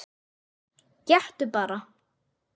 Gettu bara?